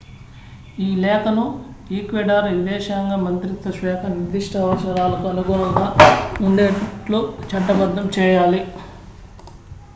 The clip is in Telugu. ఈ లేఖను ఈక్వెడార్ విదేశాంగ మంత్రిత్వ శాఖ నిర్దిష్ట అవసరాలకు అనుగుణంగా ఉండేట్లు చట్టబద్ధం చేయాలి